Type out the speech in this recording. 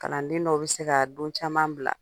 Kalanden dɔw bɛ se ka don caman bila